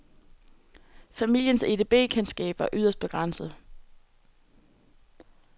Familiens edb-kendskab var yderst begrænset.